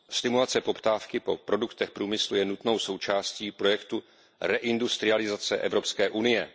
Stimulace poptávky po produktech průmyslu je nutnou součástí projektu reindustrializace Evropské unie.